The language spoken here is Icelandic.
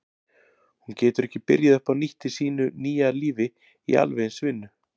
Hún getur ekki byrjað upp á nýtt í sínu nýja lífi í alveg eins vinnu.